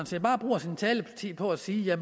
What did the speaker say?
set bare bruger sin taletid på at sige at